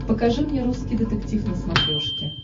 покажи мне русский детектив на смотрешке